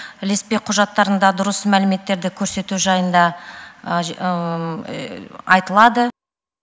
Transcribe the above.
ілеспе құжаттарында дұрыс мәліметтерді көрсету жайында айтылады